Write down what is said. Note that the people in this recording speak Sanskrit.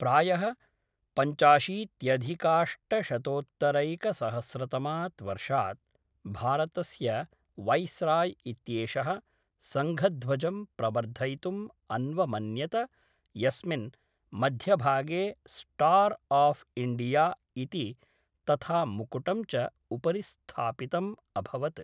प्रायः पञ्चाशीत्यधिकाष्टशतोत्तरैकसहस्रतमात् वर्षात्, भारतस्य वैस्राय् इत्येषः सङ्घध्वजं प्रवर्धयितुं अन्वमन्यत यस्मिन् मध्यभागे स्टार् आफ़् इण्डिया इति तथा मुकुटं च उपरि स्थापितम् अभवत्।